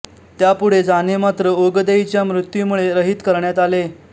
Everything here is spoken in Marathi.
त्यापुढे जाणे मात्र ओगदेईच्या मृत्यूमुळे रहित करण्यात आले